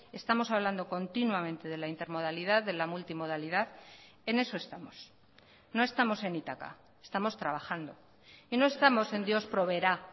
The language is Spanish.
estamos hablando continuamente de la intermodalidad de la multimodalidad en eso estamos no estamos en ítaca estamos trabajando y no estamos en dios proveerá